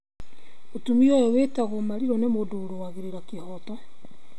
Mũtũmia ũyũ wĩtagwo Mariru nĩ mũndũ ũrũagĩra kĩhoto,